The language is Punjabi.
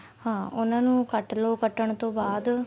ਹਾਂ ਉਹਨਾ ਨੂੰ ਕੱਟਲੋ ਕੱਟਣ ਤੋਂ ਬਾਅਦ